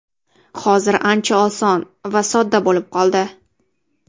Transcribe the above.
Hozir ancha oson va sodda bo‘lib qoldi.